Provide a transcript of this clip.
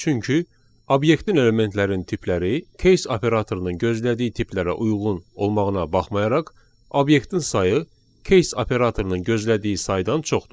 Çünki obyektin elementlərin tipləri case operatorunun gözlədiyi tiplərə uyğun olmağına baxmayaraq, obyektin sayı case operatorunun gözlədiyi saydan çoxdur.